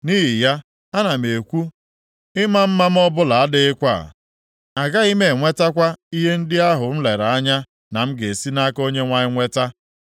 Nʼihi ya, ana m ekwu, “Ịma mma m ọbụla adịghịkwa. Agaghị m enwetakwa ihe ndị ahụ m lere anya na m ga-esi nʼaka Onyenwe anyị nweta.”